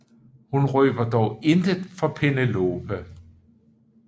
Hun røber dog intet for Penelope